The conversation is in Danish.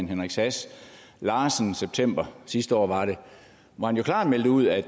henrik sass larsen i september sidste år hvor han jo klart meldte ud at